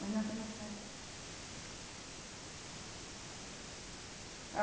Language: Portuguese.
Mas não que não saiba.